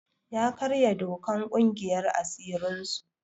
Ya karya dokan ƙungiyar asirin su.